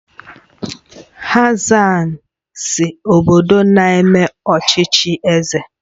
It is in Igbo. Hassan si obodo na-eme ọchịchị eze